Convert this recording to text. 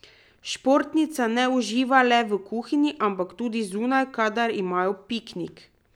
Športnica ne uživa le v kuhinji, ampak tudi zunaj, kadar imajo piknik.